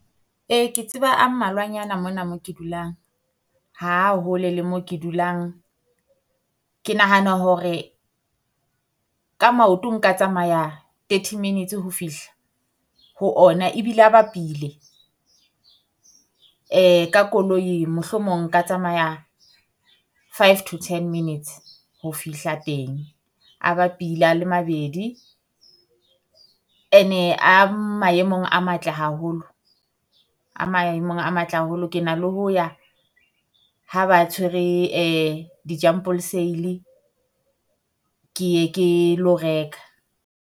Ee ke tseba a mmalwanyana mona moo ke dulang, ha hole le mo ke dulang. Ke nahana hore ka maoto nka tsamaya thirty minutes ho fihla ho ona ebile a bapile. Ka koloi mohlomong nka tsamaya five to ten minutes ho fihla teng, a bapile a le mabedi. And-e a maemong a matle haholo, a maemong a matle haholo ke na le ho ya ha ba tshwere sale ke ye ke lo reka.